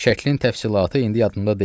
Şəklin təfsilatı indi yadımda deyil.